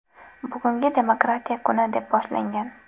Bugun demokratiya kuni”, deb boshlagan .